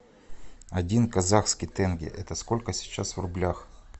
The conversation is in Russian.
один казахский тенге это сколько сейчас в рублях